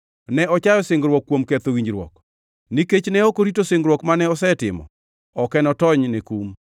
Ne ochayo singruok kuom ketho winjruok. Nikech ne ok orito singruok mane osetimo, ok enotonyne kum.